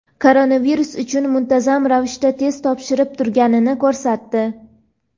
koronavirus uchun muntazam ravishda test topshirib turganini ko‘rsatdi.